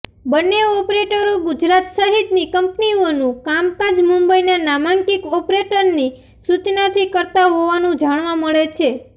બન્ને ઓપરેટરો ગુજરાત સહિતની કંપનીઓનું કામકાજ મુંબઈના નામાંકિત ઓપરેટરની સૂચનાથી કરતા હોવાનું જાણવા મળે છે